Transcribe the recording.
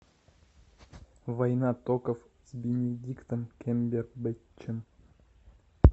война токов с бенедиктом камбербэтчем